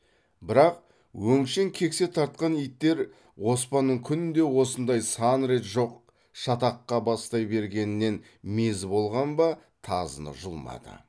бірақ өңшең кексе тартқан иттер оспанның күнде осындай сан рет жоқ шатаққа бастай бергенінен мезі болған ба тазыны жұлмады